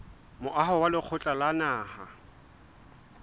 moaho wa lekgotla la naha